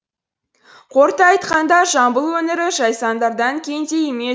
қорыта айтқанда жамбыл өңірі жайсаңдардан кенде емес